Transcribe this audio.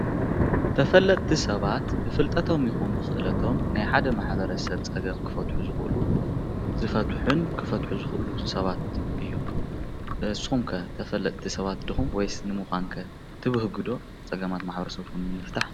ተፈለጥቲ ሰባት ብፍልጠቶም ይኹን ብክእለቶም ናይ ሓደ ማሕበረስብ ፀገም ክፈትሑ ዝኽእሉ ዝፈትሑን ክፈትሑ ዝኽእሉ ሰባት እዮም። ንስኹም ከ ተፈለጥቲ ሰባት ዲኩም ወይስ ተፈለጥቲ ንምኻን ከ ትብህጉ ዶ ፀገማት ማሕበረሰብኩም ንምፍታሕ?